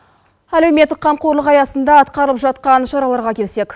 әлеуметтік қамқорлық аясында атқарылып жатқан шараларға келсек